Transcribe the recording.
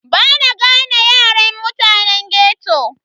Bana gane yaren mutane ghetto.